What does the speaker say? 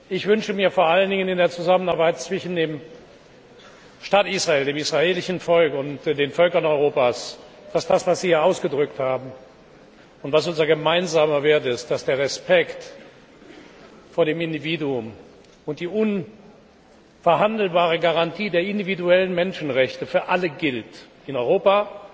Ich wünsche mir vor allem in der Zusammenarbeit zwischen dem Staat Israel, dem israelischen Volk und den Völkern Europas, dass das, was Sie hier ausgedrückt haben und was unser gemeinsamer Wert ist, dass der Respekt vor dem Individuum und die unverhandelbare Garantie der individuellen Menschenrechte für alle gilt in Europa,